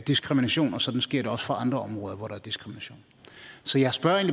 diskrimination og sådan sker det også på andre områder hvor der er diskrimination så jeg spørger